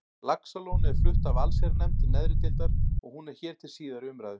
Laxalóni er flutt af allsherjarnefnd neðri deildar og hún er hér til síðari umræðu.